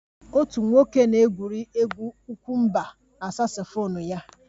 Otu nwoke na-egwuri egwu ukwe mba na saksofon ya